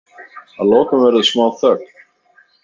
Að lokum verður smá þögn.